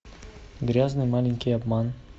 грязный маленький обман